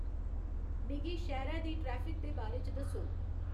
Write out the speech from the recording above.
मिगी शैह्रै दी ट्रैफिक दे बारे च दस्सौ